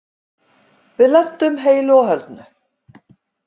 Við lentum heilu og höldnu.